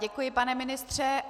Děkuji, pane ministře.